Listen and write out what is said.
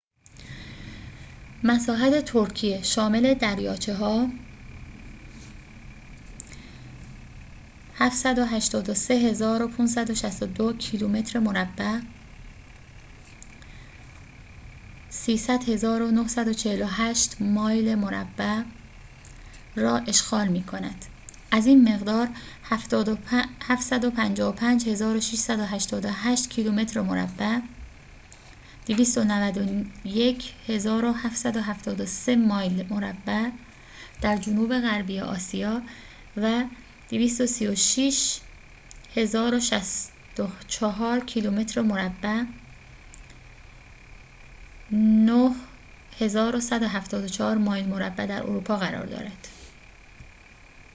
مساحت ترکیه، شامل دریاچه ها، 783562 کیلومتر مربع 300948 مایل مربع را اشغال می کند، از این مقدار، 755688 کیلومتر مربع 291773 مایل مربع در جنوب غربی آسیا و 23764 کیلومتر مربع 9174 مایل مربع در اروپا قرار دارد